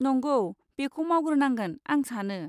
नंगौ, बेखौ मावग्रोनांगोन आं सानो।